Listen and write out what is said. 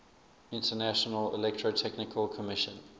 international electrotechnical commission